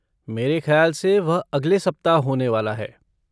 मेरे खयाल से वह अगले सप्ताह होने वाला है।